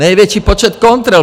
Největší počet kontrol.